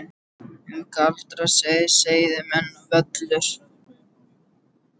Um galdra, seið, seiðmenn og völur